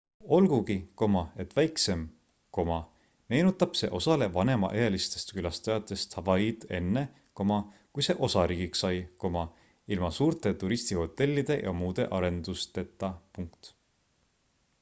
olgugi et väiksem meenutab see osale vanemaealistest külastajatest hawaiid enne kui see osariigiks sai ilma suurte turistihotellide ja muude arendusteta